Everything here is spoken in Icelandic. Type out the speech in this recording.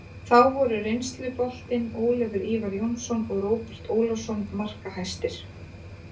Þá voru reynsluboltinn Ólafur Ívar Jónsson og Róbert Ólafsson markahæstir.